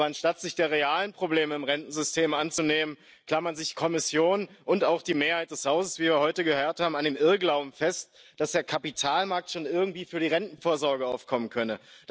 Aber anstatt sich der realen Probleme im Rentensystem anzunehmen, klammern sich Kommission und auch die Mehrheit des Hauses, wie wir heute gehört haben, an dem Irrglauben fest, dass der Kapitalmarkt schon irgendwie für die Rentenvorsorge aufkommen könne.